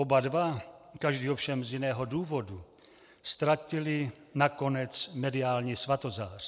Oba dva, každý ovšem z jiného důvodu, ztratili nakonec mediální svatozář.